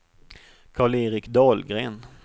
Karl-Erik Dahlgren